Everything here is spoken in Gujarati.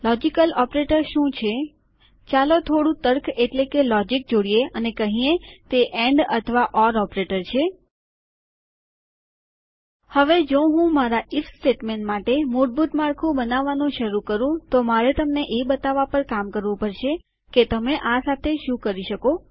લોજિકલ ઓપરેટર છે શુંચાલો થોડું તર્ક એટલે કે લોજીક જોડીએ અને કહીએ તે એન્ડ અથવા ઓર ઓપરેટર છે હવે જો હું મારા આઇએફ સ્ટેટમેન્ટ માટે મૂળભૂત માળખું બનાવવાનું શુરુ કરું તો મારે તમને એ બતાવવા પર કામ કરવું પડશે કે તમેં આ સાથે શું કરી શકો